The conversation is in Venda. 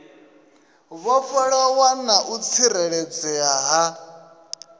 vhofholowa na u tsireledzea ha